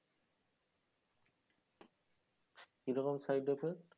কি রকম side effect?